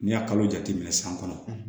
N'i y'a kalo jate minɛ san kɔnɔ